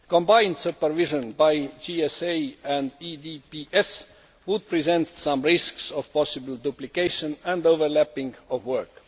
Combined supervision by JSA and EDPS would present some risks of possible duplication and overlapping of work.